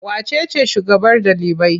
Wace ce shugabar ɗalibai?